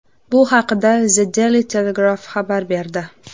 Bu haqda The Daily Telegraph xabar berdi .